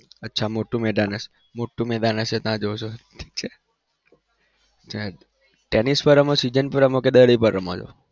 અચ્છા મોટું મેદાન હશે મોટું મેદાન હશે ત્યાં જવ છો ઠીક છે. ટેનિસ માં રમો season માં રમો કે દડી પર રમો છો?